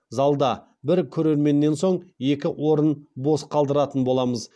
залда бір көрерменнен соң екі орынды бос қалдыратын боламыз